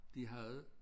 De havde